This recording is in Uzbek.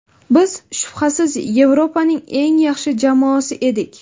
Biz, shubhasiz, Yevropaning eng yaxshi jamoasi edik.